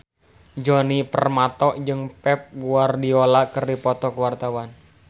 Djoni Permato jeung Pep Guardiola keur dipoto ku wartawan